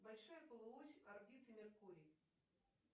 большая полуось орбиты меркурий